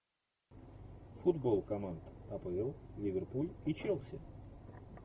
футбол команд апл ливерпуль и челси